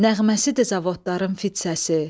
Nəğməsi də zavodların fit səsi.